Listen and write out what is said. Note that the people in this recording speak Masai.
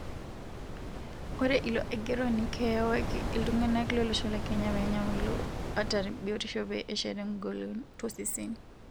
Ore ilo aigeroni keyewaki ltunganak lolosho le Kenya penya milo nata biotisho pee eshet engolon toseseni.